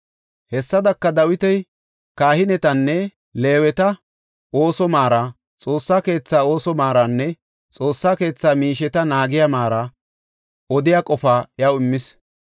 Hessadaka Dawiti kahinetanne Leeweta ooso maara, Xoossa keetha ooso maaranne Xoossa keetha miisheta naagiya maara odiya qofaa iyaw immis.